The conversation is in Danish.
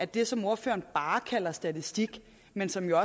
det som ordføreren bare kalder statistik men som jo